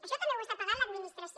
això també ho està pagant l’administració